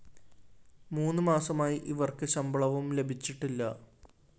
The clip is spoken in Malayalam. മൂന്നു മാസമായി ഇവര്‍ക്ക് ശമ്പളവും ലഭിച്ചിട്ടില്ല